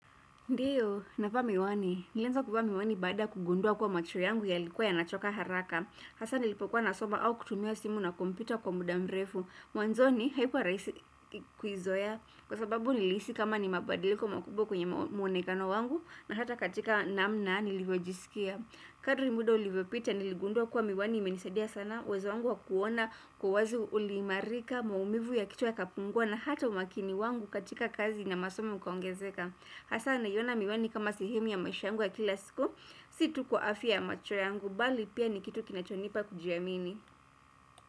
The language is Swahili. Ndio, navaa miwani. Nilianza kuvaa miwani baada kugundua kuwa macho yangu yalikuwa yanachoka haraka. Hasa nilipokuwa nasoma au kutumia simu na komputa kwa muda mrefu. Mwanzoni, haikua rahisi kuizoea kwa sababu nilihisi kama ni mabadiliko makubwa kwenye muonekano wangu na hata katika namna nilivyojisikia. Kadri muda ulivyopita niligundua kuwa miwani imenisadia sana. Uwezo wangu wa kuona kwa wazi uliimarika maumivu ya kichwa yakapungua na hata umakini wangu katika kazi na masomo ukaongezeka. Hasa naiona miwani kama sehemu ya maisha yangu ya kila siku Si tu kwa afya ya macho yangu mbali pia ni kitu kinachonipa kujiamini.